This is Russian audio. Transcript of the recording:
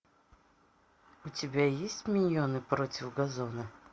у тебя есть миньоны против газона